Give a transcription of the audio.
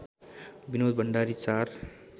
Binod Bhandari ४